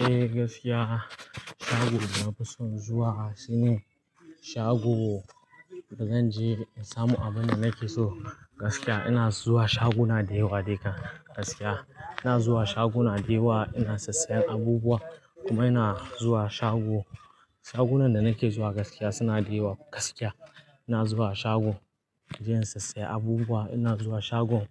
Eh gaskiya, shagon da na fi son zuwa shine shago da zanje in samu abunda nake so. Gaskiya ina zuwa shaguna da yawa de kam gaskiya, ina zuwa shaguna dayawa ina sassayen abubuwa kuma ina zuwa shago shagunan da nake zuwa gaskiya suna da yawa. Gaskiya ina zuwa shago inje in sassaya abubuwa. Ina zuwa shagon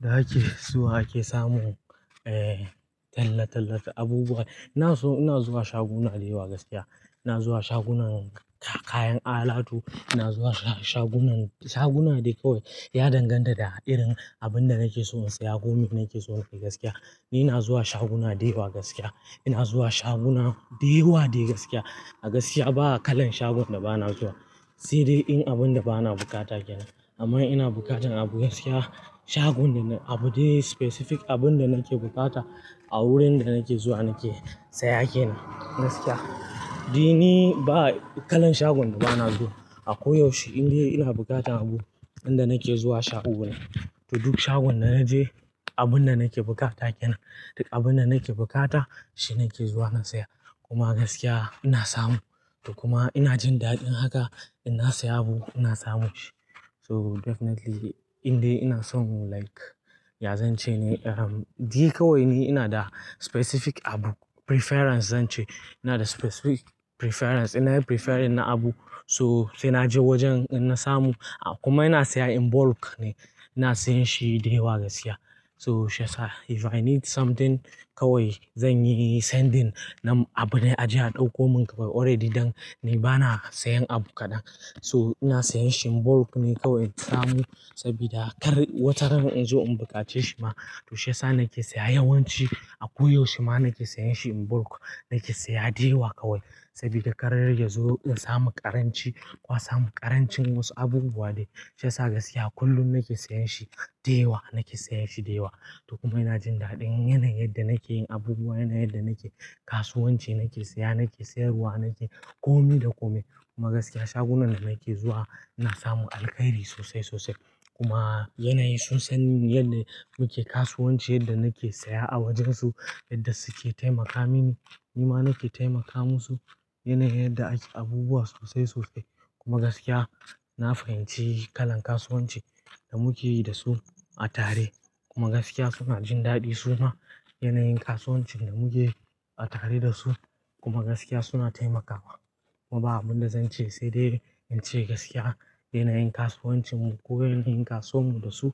da ake zuwa ake samu eh talatalata abubuwa. Ina so ina zuwa shaguna da yawa gaskiya. Ina zuwa shagunan kak-kayan alatu, ina zuwa shagunan shaguna de kawai, ya danganta da irin abun da nakeso in saya gomai na keso na keso gaskiya. Ni ina zuwa shaguna da yawa gaskiya. Ina zuwa shaguna da yawa dai gaskiya. A gaskiya ba akalan shagon da bana zuwa, sai dai in abunda bana bukata kenan. Amma ina bukatan abu gaskiya, shagon daban abu dai specific abunda nake bukata a wurin da nake zuwa nake saya kenan gaskiya. Ni ba kalan shagon da bana zuwa a koyaushe in dai ina bukatan abu inda nake zuwa shagon ne. To duk shagon da naje abunda nake bukata kenan. Duk abunda nake bukata shi nake zuwa na siya kuma gaskiya ina samu. Kuma ina jin daɗin haka, ina siya abu ina samu shi. So definitely in dai ina so like ya zan ce ne? Di kawai ni ina da specific abu preference zan ce. Ina da specific preference. Ina preferring abu so sai naje wajen in na samu. Kuma ina siya in bulk ne, ina siyan shi da yawa gaskiya. So shiyasa if I need something kawai zanyi sending nam abune aje a ɗauko min already dang ni bana sayan abu kaɗan. So ina siyan shi in bulk ne kawai in samu saboda kar wata rana in zo in buƙace shi ma to shiyasa nake siya yawanci a koyaushe ma nake sayan shi in bulk nake siya da yawa kawai. Sabida kar yar yazo in samu ƙaranci ko a samu ƙarancin wasu abubuwa dai. Shiyasa gaskiya kullum nake sayan shi da yawa, nake sayan shi da yawa. To kuma ina jin daɗin yanayin yadda nake yin abubuwa, yanayin da nake kasuwanci nake siya nake sayarwa nake komi da komai. Kuma gaskiya shagunan da nake zuwa ina samu alkhairi sosai sosai. Kuma yanayi sun san yadda muke kasuwanci, yadda nake siya a wajansu, yadda suke taimaka mini, nima nake taimaka musu. Yanayin da ake abubuwa sosai sosai. Kuma gaskiya na fahimci kalan kasuwanci da muke yi da su a tare. Kuma gaskiya suna jin daɗi suna yanayin kasuwancin da muke a tare da su. Kuma gaskiya suna taimakawa. Kuma ba abunda zan ce sai dai in ce gaskiya yanayin kasuwancin mu ko yanayin kasuwan mu da su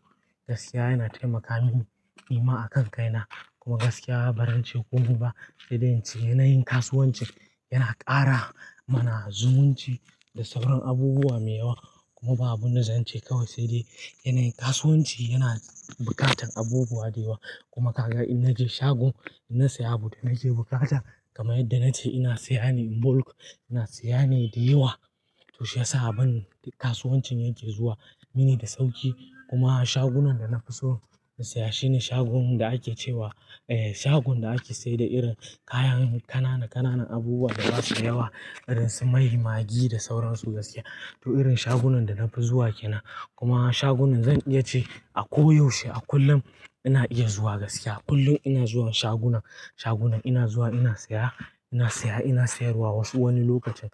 gaskiya yana taimakawa mini. Nima a kan kai na kuma gaskiya ba ran ce komi ba sai dai in ce yanayin kasuwanci yana ƙara mana zumunci da sauran abubuwa mai yawa. Kuma ba abunda zan ce kawai sai dai yanayin kasuwanci yana buƙatan abubuwa da yawa. Kuma kaga in naje shago ina siya abu da nake bukata. Kamayadda na ce ina siya ne in bulk, ina siya ne da yawa to shiyasa a ban kasuwancin yake zuwa mini da sauƙi. Kuma shagunan da na fi so in siya shine shagon da ake cewa eh shagoon da ake sayar da irin kayan ƙanana ƙanana abubuwa da basu yawa irin su mai, maggi da sauran su gaskiya. To irin shagunan da na fi zuwa kenan. Kuma shagunan zan iya ce a koyaushe a kullum ina iya zuwa gaskiya. A kullum ina zuwa shagunan, shagunan ina zuwa ina siya, ina siya ina sayarwa wasu wani lokacin.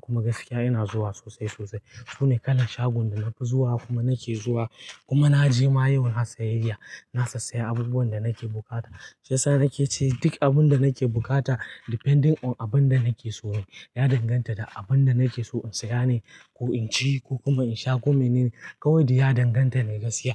Kuma gaskiya ina zuwa sosai sosai. Sune kalan shagon da na fi zuwa kuma nake zuwa kuma na je ma yau na sayayya. Na sassaya abubuwan da nake bukata. Shiyasa nake ce duk abunda nake bukata depending on abunda nake so yi. Ya danganta da abunda nake so in siya ne, ko in ci ko kuma in sha komai ne kawai. Ya danganta ne gaskiya.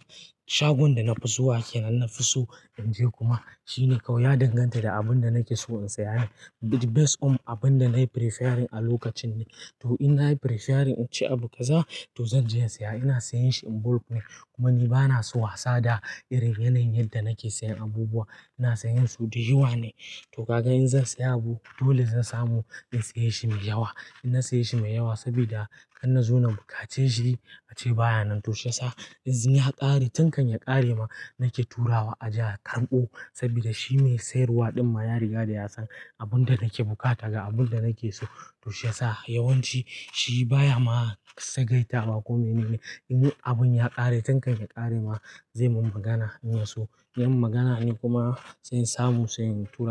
Shagon da na fi zuwa kenan, na fi so in je kuma shine kawai ya danganta da abunda nake so in siya ne. Based on abunda nayi preferring a lokacin ne. To ina preferring in ci abu kaza to zan je in siya. Ina siyan shi in bulk ne kuma ni bana so wasa da irin yanayin da nake siyan abubuwa. Ina siyan su da yawa ne. To kaka in zan siya abu dole zan samu in siya shi mai yawa. In na siya shi mai yawa sabida kar na zo na buƙace shi a ce baya nan. To shiyasa in ya ƙare tankan ya ƙare ma nake turawa a je a karɓo saboda shi mai sayarwa ɗin ma ya riga ya san abunda nake bukata ga abunda nake so. To shiyasa yawanci shi baya ma tsagaitawa ko menene, in abun ya kare tun kan yakare ma ze mun magana, in yaso in yayi mun magana ni kuma sai in samu sai in tura.